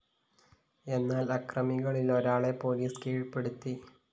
എന്നാല്‍ അക്രമികളിലൊരാളെ പോലീസ്‌ കീഴ്പ്പെടുത്തി